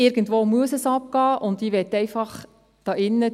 Irgendwo muss es abgehen, und ich möchte hier drinnen …